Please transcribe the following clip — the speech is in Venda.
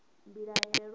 mbilahelo